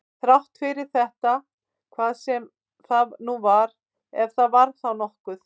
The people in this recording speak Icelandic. Þrátt fyrir þetta hvað sem það nú var, ef það var þá nokkuð.